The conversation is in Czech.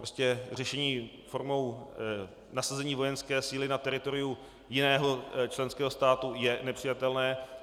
Prostě řešení formou nasazení vojenské síly na teritoriu jiného členského státu je nepřijatelné.